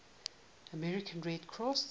american red cross